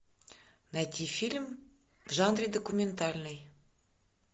найти фильм в жанре документальный